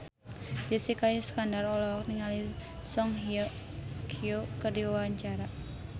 Jessica Iskandar olohok ningali Song Hye Kyo keur diwawancara